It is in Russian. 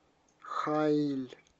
хаиль